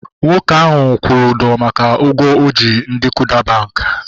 Nwoke ahu kwụrụ ụdọ maka ụgwọ o ji ndị Kuda bankị